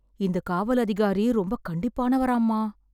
இந்த காவல் அதிகாரி ரொம்ப கண்டிப்பானவராம்மா.